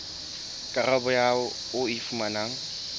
karabo eo o e fumanang